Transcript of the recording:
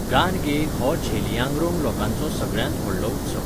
गान गे हो झेलियांगरोंग लोकांचो सगळ्यांत व्हडलो उत्सव.